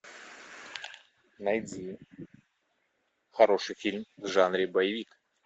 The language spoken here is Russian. найди хороший фильм в жанре боевик